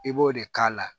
I b'o de k'a la